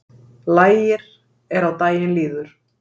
Lægir er á daginn líður